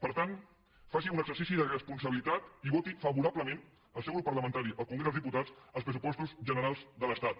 per tant faci un exercici de responsabilitat i que voti favorablement el seu grup parlamentari al congrés dels diputats els pressupostos generals de l’estat